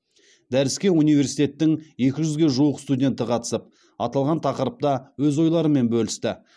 дәріске университеттің екі жүзге жуық студенті қатысып аталған тақырыпта өз ойларымен бөлісті